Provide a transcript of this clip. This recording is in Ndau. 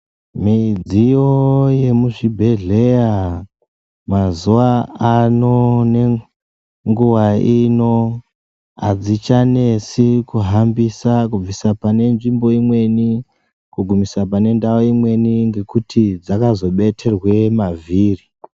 Midziyo yemuzvibhedhlera mazuva ano, nenguva ino, hadzichanesi kuhambisa, kubvisa pane nzvimbo imweni kugumisa pane ndau imweni ngekuti dzakazobetherwe mavhiri.